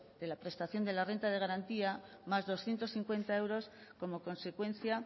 de la prestación de la renta de garantía más doscientos cincuenta euros como consecuencia